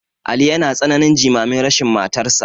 Ali yana tsananin jimamin rashin matarsa.